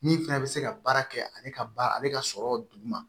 Min fɛnɛ bɛ se ka baara kɛ ale ka ba ale ka sɔrɔ duguma